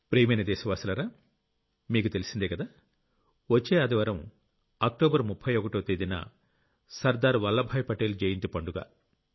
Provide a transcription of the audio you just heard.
ప్రియమైన దేశవాసులారా మీకు తెలిసిందేకదా వచ్చే ఆదివారం అక్టోబర్ 31వ తేదీన సర్దార్ వల్లభాయ్ పటేల్ జయంతి పండుగ